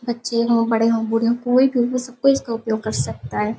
बच्चे हो बड़े हो बूढ़े हो कोई भी हो सब कोई इसका उपयोग कर सकता है।